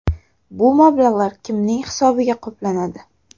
Bu mablag‘lar kimning hisobiga qoplanadi?